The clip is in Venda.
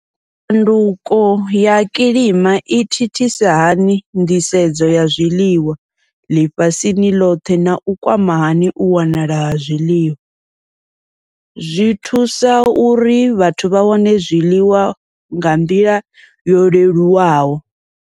Tshanduko ya kilima i thithisa hani nḓisedzo ya zwiḽiwa ḽifhasini ḽothe nau kwama hani u wanala ha zwiḽiwa, zwi thusa uri vhathu vha wane zwiḽiwa nga nḓila yo leluwaho.